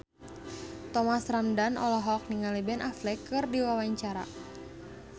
Thomas Ramdhan olohok ningali Ben Affleck keur diwawancara